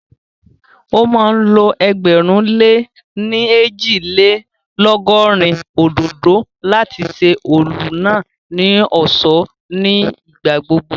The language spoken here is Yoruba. Ó máa ń lo ẹgbẹ̀rún lé ní ẹ́jì-lé-lọ̀gọrin òdòdó láti ṣe ọ́ọ̀lù náà ní ọ̀ṣọ́ ní ìgbà gbogbo